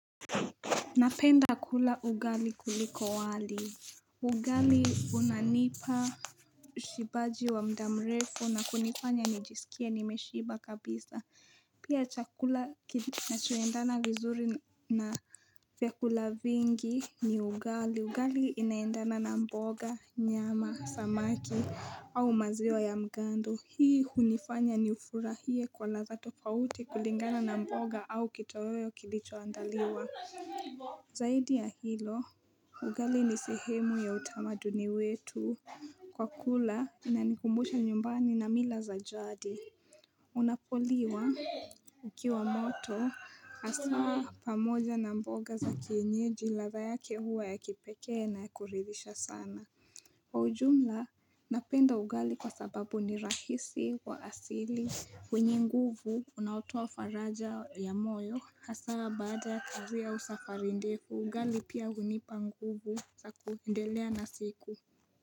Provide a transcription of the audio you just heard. Napenda kula ugali kuliko wali. Ugali unanipa ushibaji wa mda mrefu na kunifanya nijisikie nimeshiba kabisa. Pia chakula kinachoendana vizuri na vyakula vingi ni ugali. Ugali inaendana na mboga, nyama, samaki au maziwa ya mgando. Hii hunifanya niufurahie kwa ladha tofauti kulingana na mboga au kitoweo kilichoandaliwa. Zaidi ya hilo, ugali ni sehemu ya utamaduni wetu kwa kula inanikumbusha nyumbani na mila za jadi Unapoliwa ukiwa moto, hasaa pamoja na mboga za kienyeji ladha yake huwa ya kipekee na ya kuridhisha sana Kwa ujumla, napenda ugali kwa sababu ni rahisi wa asili. Wenye nguvu unaotoa faraja ya moyo Hasa baada kazi au safari ndefu, ugali pia hunipa nguvu za kuendelea na siku.